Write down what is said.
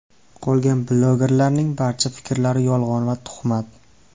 Qolgan blogerlarning barcha fikrlari yolg‘on va tuhmat.